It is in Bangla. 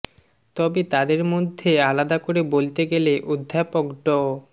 তবে তাঁদের মধ্যে আলাদা করে বলতে গেলে অধ্যাপক ড